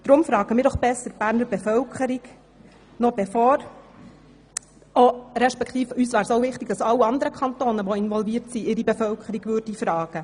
Deshalb fragen wir doch besser die Berner Bevölkerung noch bevor alle anderen involvierten Kantone ihre Bevölkerung fragen.